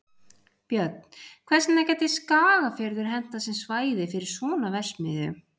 Björn: Hvers vegna gæti Skagafjörður hentað sem svæði fyrir svona verksmiðju?